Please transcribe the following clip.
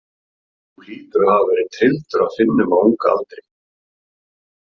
Þú hlýtur að hafa verið trylldur af Finnum á unga aldri.